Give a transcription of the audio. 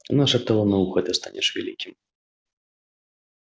она шептала на ухо ты станешь великим